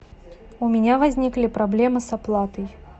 у меня возникли проблемы с оплатой